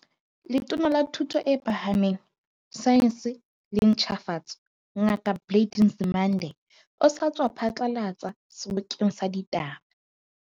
Letona la Thuto e Phahameng, Saense le Ntjhafatso, Ngaka Blade Nzimande, o sa tswa phatlalatsa sebokeng sa ditaba.